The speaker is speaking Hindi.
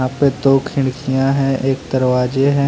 दो खिड़कियां है एक दरवाजे है।